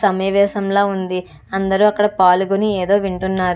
ఒక సమేవేశంల ఉంది అందరు అక్కడ పాలుగొని వింటున్నారు.